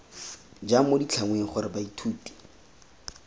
jang mo ditlhangweng gore baithuti